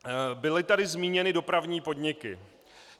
Byly tady zmíněny dopravní podniky.